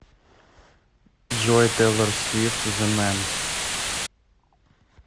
джой тейлор свифт зе мэн